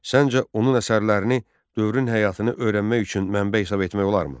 Səncə onun əsərlərini dövrün həyatını öyrənmək üçün mənbə hesab etmək olarmı?